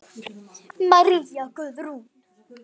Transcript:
María Guðrún.